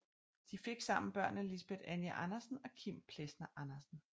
De fik sammen børnene Lisbet Anja Andersen og Kim Plesner Andersen